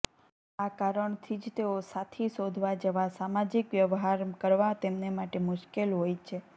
આ કારણથી જ તેઓ સાથી શોધવા જેવા સામાજિક વ્યવહાર કરવા તેમને માટે મુશ્કેલ હોય છે